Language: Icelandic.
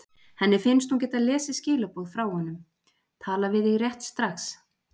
Henni finnst hún geta lesið skilaboð frá honum: Tala við þig rétt strax.